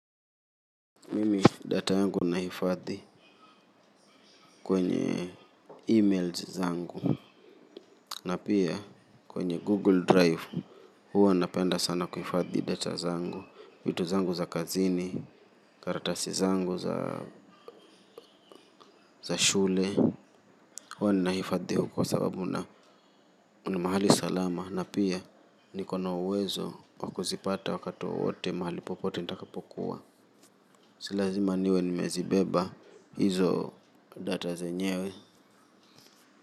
Mimi data yangu nahifadhi kwenye emails zangu na pia kwenye Google Drive huwa napenda sana kuhifadhi data zangu vitu zangu za kazini karatasi zangu za shule huwa nahifadhi huko kwa sababu na kuna mahali salama na pia niko na uwezo wa kuzipata wakati wowote mahali popote nitakapokuwa si lazima niwe nimezibeba hizo data zenyewe.